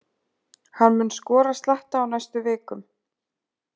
Hann mun skora slatta á næstu vikum.